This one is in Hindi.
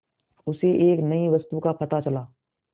उसे एक नई वस्तु का पता चला